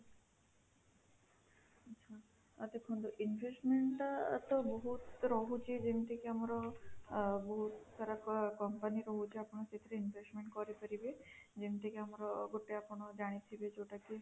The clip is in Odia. ଆଚ୍ଛା, ମୋତେ କୁହନ୍ତୁ investment ଟା ତ ବହୁତ ରହୁଛି ଯେମିତି କି ଆମର ଆଁ ବହୁତ ସାରା company ରହୁଛି ଆପଣ ସେଥିରେ investment କରିପାରିବେ ଯେମିତି ଆମର ଗୋଟେ ଆପଣ ଜାଣିଥିବେ ଯୋଉଟା କି